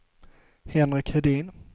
Henrik Hedin